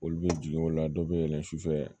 Olu bɛ jigin o la dɔw bɛ yɛlɛn sufɛ